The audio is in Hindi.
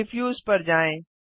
डिफ्यूज पर जाएँ